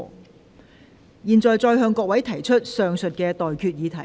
我現在向各位提出上述待決議題。